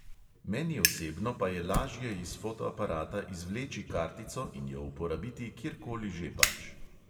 Meni osebno pa je lažje iz fotoaparata izvleči kartico in jo uporabiti kjerkoli že pač.